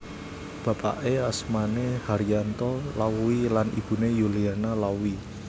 Bapake asmane Haryanto Lauwy lan ibune Yuliana Lauwy